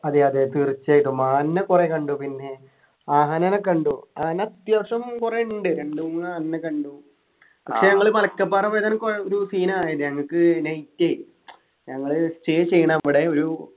അതെയതെ തീർച്ചയായിട്ടും മാനിനെ കുറെ കണ്ടു പിന്നെ ആനെന കണ്ടു ആന അത്യാവശ്യം കുറെ ഉണ്ട് രണ്ടുമൂന്നു ആനേന കണ്ടു പക്ഷെ ഞങ്ങള് മലക്കപ്പാറ പോയതാണ് കൊഴ് ഒരു scene ആയത് ഞങ്ങക്ക് night ഞങ്ങള് stay ചെയ്യുന്ന അവിടെ ഒരു